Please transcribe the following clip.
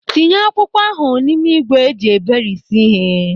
Tinye akwụkwọ ahụ n'ime ígwè eji eberisi ịhe.